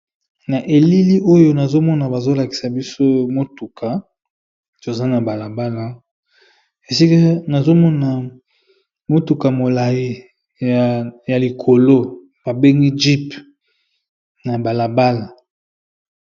Naelili oyo nazomona bazo lakisaka biso mutuka eza nabalabala nazali komona mutuka ya molai ya likolo babengi GP